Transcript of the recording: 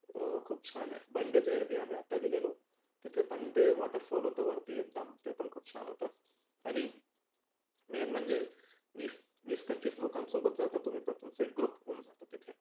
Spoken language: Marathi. अं खुप छान आहे. बंडजेर आम्ही आत्ता गेलेलो तीथे पण ते waterfall होतं वरती एकदम ते पण खुप छन होतं. आणि main म्हणजे वीस वीस पंचवीस लोकांसोबत जाता तुम्ही तर तुमचा एक group होऊन जातो तीथे.